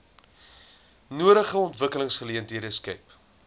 nodige ontwikkelingsgeleenthede skep